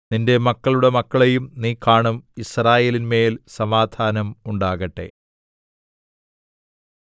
നിന്റെ മക്കളുടെ മക്കളെയും നീ കാണും യിസ്രായേലിന്മേൽ സമാധാനം ഉണ്ടാകട്ടെ